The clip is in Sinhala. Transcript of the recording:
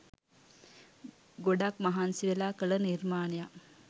ගොඩක් මහන්සිවෙලා කළ නිර්මාණයක්